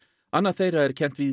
annað þeirra er kennt við